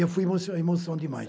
Eu fui emoção demais